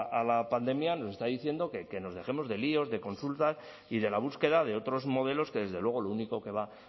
a la pandemia nos está diciendo que nos dejemos de líos de consultas y de la búsqueda de otros modelos que desde luego lo único que va